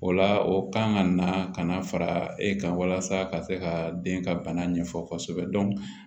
O la o kan ka na ka na fara e kan walasa ka se ka den ka bana ɲɛfɔ kosɛbɛ